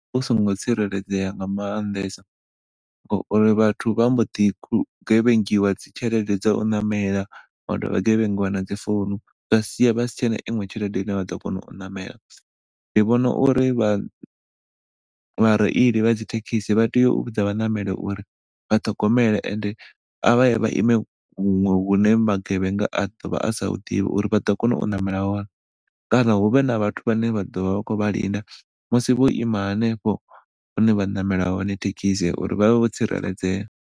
Hu songo tsireledzea nga maanḓesa ngauri vhathu vha mbo ḓi gevhengiwa dzi tshelede dza u ṋamela, vha dovha vha gevhengiwa na dzi founu zwa sia vha si tshena iṅwe tshelede ine vha ḓo kona u ṋamela ndi vhona uri vhareili vha dzi thekhisi vha tea u vhudza vha ṋameli uri vha ṱhogomele ende a vhaye vha ime huṅwe hune magevhenga a ḓo vha asa huḓivhi uri vha ḓo kona u ṋamela hone kana huvhe na vhathu vhane vha ḓovha vha khou vha linda musi vho ima hanefho hune vha ṋamela hone thekhisi uri vha vhe vho tsireledzea.